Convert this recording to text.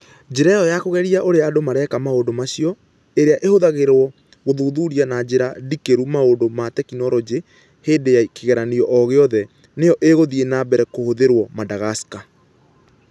Njĩra ĩyo ya kũgeria ũrĩa andũ mareka maũndũ macio, ĩrĩa ĩhũthagĩrũo gũthuthuria na njĩra ndikĩru maũndũ ma tekinolonjĩ hĩndĩ ya kĩgeranio o gĩothe, nĩyo ĩgũthiĩ na mbere kũhũthĩrũo Madagascar.